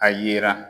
A yira